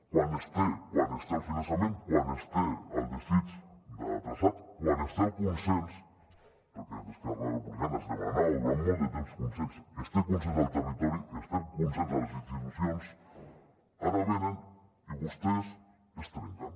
quan es té el finançament quan es té el desig de traçat quan es té el consens perquè des d’esquerra republicana es demanava durant molt de temps consens es té consens al territori es té el consens a les institucions ara venen i vostès es trenquen